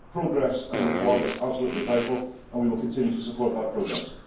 Progress and reform is absolutely vital and we will continue to support that progress.